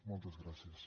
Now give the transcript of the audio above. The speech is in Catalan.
moltes gràcies